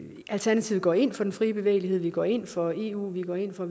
alternativet går ind for den frie bevægelighed vi går ind for eu vi går ind for